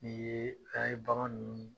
Ni ye bagan ninnu